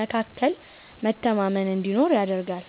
መካከል መተማመን እንዲኖር ያደርጋል።